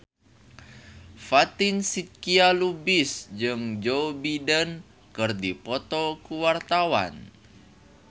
Fatin Shidqia Lubis jeung Joe Biden keur dipoto ku wartawan